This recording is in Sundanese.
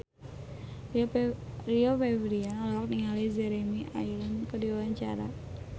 Rio Febrian olohok ningali Jeremy Irons keur diwawancara